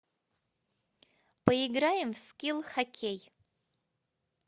поиграем в скилл хоккей